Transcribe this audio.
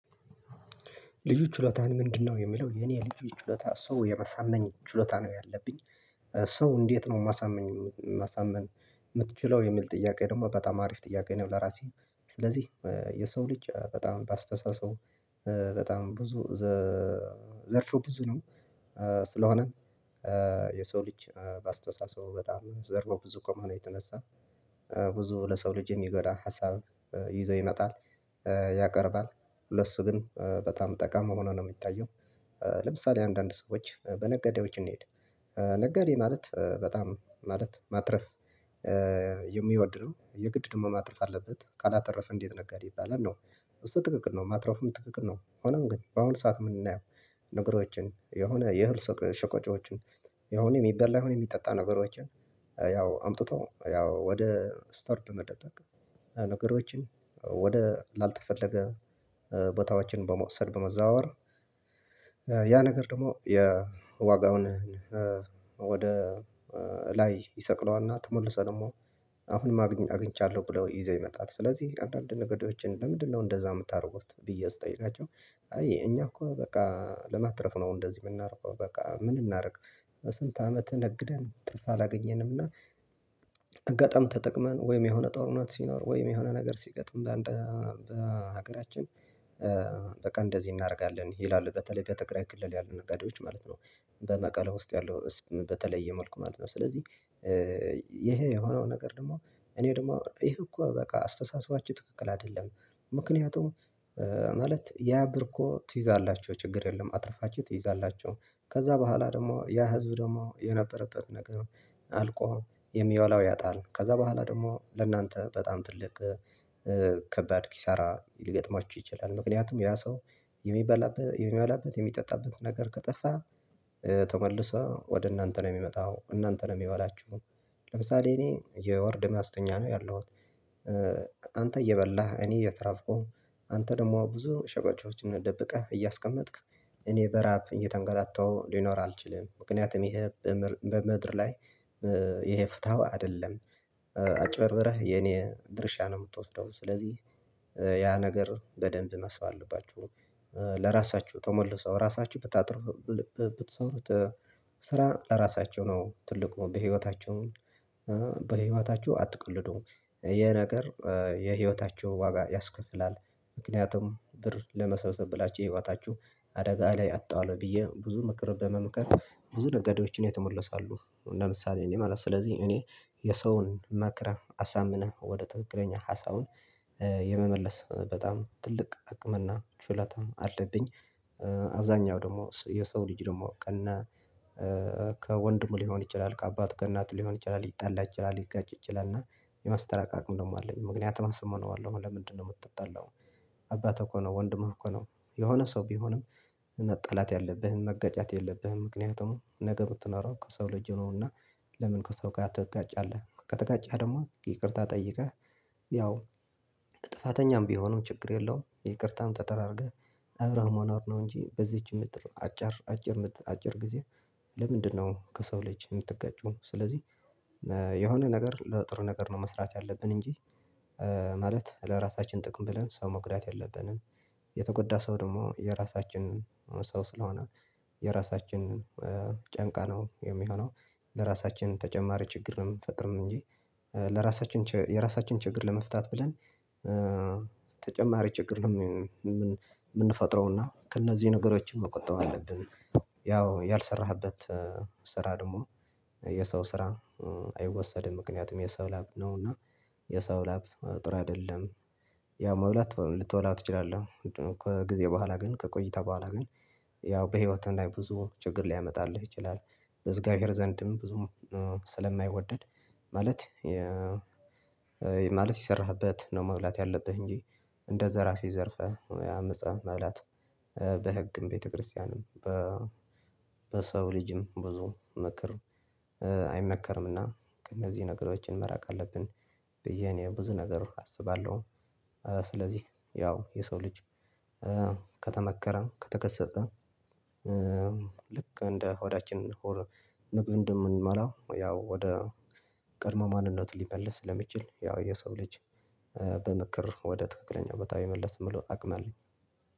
ልዩ ችሎታህ ምንድነው? የሚለው የኔ ልዩ ችሎታ ሰው የማሳመን ችሎታ ነው ያለብኝ ሰው እንዴት ነው የማሳምን? የምትችለው የሚል ጥያቄ ደግሞ በጣም አሪፍ ጥያቄ ነው። ለራሴ ስለዚህ የሰው ልጅ በጣም በአስተሳሰቡ በጣም ብዙ ዘርፍ ብዙ ነው። ስለሆነ የሰው ልጅ በአስተሳሰቡ በጣም ዘርፈ ብዙ ከመሆኑ የተነሳ ብዙ ለሰው ልጅ የሚጎዳ ሀሳብ ይዞ ይመጣል ያቀርባል ለሱ ግን በጣም ጠቃሚ ሆኖ ነው የሚታየው። ለምሳሌ አንዳንድ ሰዎች በነጋዴዎች እንሂድ ነጋዴ ማለት በጣም ማለት ማትረፍ የሚወድ ነው የግድ ደሞ ማትረፍ አለበት ካላተረፈ እንዴት ነጋዴ ይባላል ነው። እሱ ትክክል ነው ማትረፍም ትክክል ነው ሆኖም ግን በአሁኑ ሰዓት ምናየው። ነገሮችን የሆነ የእህል ሸቀጦችን የሆነ የሚበላ የሆነ የሚጠጣ ነገሮችን ያው አምጥቶ ያው ወደ ስቶር መደበቅ ያው ነገሮችን ወደ ላልተፈለገ ቦታዎችን በመውሰድ በመዛወር ያ ነገር ደግሞ የዋጋውን ወደ ላይ ይሰቅለዋልና ተመልሶ ደግሞ አሁንም አግኝቻለሁ ብለው ይዘው ይመጣል። ስለዚህ አንዳንድ ነጋዴወችን ለምንድነው እንደዛ የምታደርጉት ብዬ ስጠይቃቸው? አየህ እኛ እኮ በቃ ለማትረፍ ነው እንደዚህ የምናደርገው በቃ ምን እናደርግ? ስንት አመትን ነግደን ትርፋ አላገኘንም። እና አጋጣሚ ተጠቅመን ወይም የሆነ ጦርነት ሲኖር ወይም የሆነ ነገር ሲገጥም በሀገራችን በቃ እንደዚህ እናደርጋለን ይላሉ በተለይ በትግራይ ክልል ያለ ነጋዴዎች ማለት ነው። በመቀሌ ውስጥ ያለው በተለየ መልኩ ማለት ነው። ስለዚህ ይሄ የሆነው ነገር ደግሞ እኔ ደግሞ ይሄ እኮ በቃ አስተሳሰባችን ትክክል አይደለም። ምክንያቱም ማለት ያ ብር እኮ ትይዛላችሁ ችግር የለም። አትርፋችሁ ትይዛላችሁ ከዛ በኋላ ደግሞ ያ ህዝብ ደግሞ የነበረበት ነገር አልቆ የሚበላው ያጣል ከዛ በኋላ ደግሞ ለእናንተ በጣም ትልቅ ከባድ ኪሳራ ሊገጥማችሁ ይችላል። ምክንያቱም ያ ሰው የሚባላበት የሚበላበት የሚጠጣበት ነገር ካጣ ተመልሰው ወደ እናንተ ነው የሚመጣው እናንተን ነው የሚባላችሁ። ለምሳሌ እኔ የወርድ ማስተኛ ነው ያለሁት። አንተ እየበላህ እኔ እየተራብኩ አንተ ደግሞ ብዙ ሸቀጦችን ደብቀህ እያስቀመጥክ እኔ በራብ እየተንገላታሁ ሊኖር አልችልም። ምክንያቱም ይሄ በምድር ላይ ይሄ ፍትሀዊ አይደለም። አጭበርብረህ የኔን ድርሻ ነው የምትወስደው ስለዚህ። ያ ነገር በደንብ ማሰብ አለባችሁ። ለራሳችሁ ተመልሰው ራሳችሁ ብታጥሩ ብትሰሩት ስራ ለራሳችሁ ነው ትልቁ በህይወታቸሁ በህይወታቸው አትቅልዱ የነገር የህይወታቸው ዋጋ ያስከፍላል። ምክንያቱም ብር ለመሰብሰብ ብላችሁ የህወታችሁ አደጋ ላይ አትጣለሁ ብዬ ብዙ ምክር በመምከር ብዙ ነገዶችን የተመለሱ አሉ። ለምሳሌ እኔ ማለት ስለዚህ እኔ የሰውን መክረህ አሳምነህ ወደ ትክክለኛ ሀሳቡን የመመለስ በጣም ትልቅ አቅምና ችሎታም አልብኝ። አብዛኛው ደግሞ የሰው ልጅ ደግሞ ቀና ከወንድሙ ሊሆን ይችላል ከአባቱ ከእናት ሊሆን ይችላል ይጣላ ይችላል ሊጋጭ ይችላል እና የማስታረቅ አቅም ደግሞ አለኝ። ምክንያቱም አሳምነዋለሁ ለምንድነው የምትጣላው? አባትህ እኮ ነው ወንድህ እኮ ነው የሆነ ሰው ቢሆንም መጣላት ያለብህን መጋጨት የለብህም። ምክንያቱም ነገ ብትኖረው ከሰው ልጅ ነውና ለምን ከሰው ጋር ትጋጫለህ? ከተጋጨህ ደግሞ ይቅርታ ጠይቀህ ያው ጥፋተኛም ቢሆንም ችግር የለውም። ይቅርታም ተደራርገህ አብራህ ሞናር እንጂ በዚች ምድር አጭር አጭር ምድር አጭር ጊዜ ለምንድነው ከሰው ልጅ የምትጋጩ ነው? ስለዚህ የሆነ ነገር ለጥሩ ነገር ነው መስራት ያለብን እንጂ ማለት ለራሳችን ጥቅም ብለን ሰው መጉዳት የለብንም። የተጎዳ ሰው ደግሞ የራሳችን ሰው ስለሆነ የራሳችንን ጨንቃ ነው የሚሆነው ለራሳችን ተጨማሪ ችግር ነው የምንፈጥርም እንጂ ለራሳችን የራሳችን ችግር ለመፍታት ብለን ተጨማሪ ችግር ነው የምንፈጥረውና ከእነዚህ ነገሮችን መቆጠብ አለብን። ያው ያልሰራህበት ስራ ደግሞ የሰው ስራ አይወሰድም ምክንያቱም የሰው ላብ ነው እና የሰው ላብ ጥሩ አይደለም። ያው መብላት ልትበላ ትችላለህ ከጊዜ በኋላ ግን ከቆይታ በኋላ ግን ያው በህይወትህ ላይ ብዙ ችግር ሊያመጣልህ ይችላል። በእግዚአብሄር ዘንድም ብዙም ስለማይወደድ ማለት የሰራህበት ነው መብላት ያለብህ እንጂ እንደ ዘራፊ ዘርፈ አምፀህ መብላት። በህግም ቤተክርስቲያንም በሰው ልጅም ብዙ ምከር አይመከርምና ከእነዚህ ነገሮችን መራቅ አለብን። ብዬ እኔ ብዙ ነገር አስባለሁ። ስለዚህ ያው የሰው ልጅ ከተመከረም ከተገሰፀ ልክ እንደ ሆዳችን ምግብ እንደምንበላው ያው ወደ ቀድሞ ማንነት ሊመልስ ለሚችል ያው የሰው ልጅ በምክር ወደ ትክክለኛ ቦታ የመመለስ ሙሉ አቅም አለኝ።